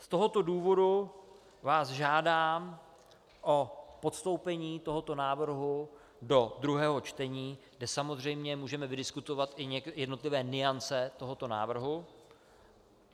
Z tohoto důvodu vás žádám o postoupení tohoto návrhu do druhého čtení, kde samozřejmě můžeme vydiskutovat i jednotlivé nuance tohoto návrhu.